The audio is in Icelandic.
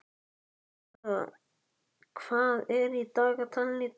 Gurra, hvað er í dagatalinu í dag?